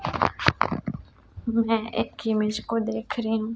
मैं एक इमेज को देख रही हूं।